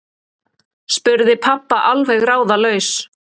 spurði pabbi alveg ráðalaus.